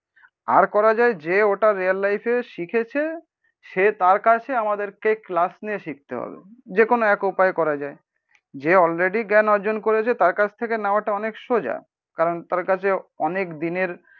আর করা যায় যে ওটা রিয়েল লাইফে শিখেছে সে তার কাছে আমাদেরকে ক্লাস নিয়ে শিখতে হবে। যেকোনো এক উপায় করা যায়। যে অলরেডি জ্ঞান অর্জন করেছে তার কাছ থেকে নেওয়াটা অনেক সোজা, কারণ তার কাছে অনেক দিনের